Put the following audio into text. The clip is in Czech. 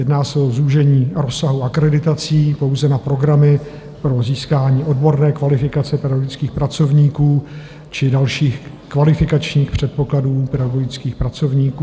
Jedná se o zúžení rozsahu akreditací pouze na programy pro získání odborné kvalifikace pedagogických pracovníků či dalších kvalifikačních předpokladů pedagogických pracovníků.